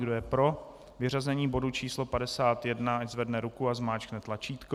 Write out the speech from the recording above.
Kdo je pro vyřazení bodu číslo 51, ať zvedne ruku a zmáčkne tlačítko.